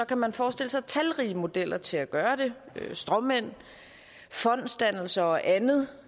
kan man forestille sig talrige modeller til at gøre det med stråmænd fondsdannelser og andet